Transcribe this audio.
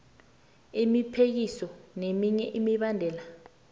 isiphekiso neminye imibandela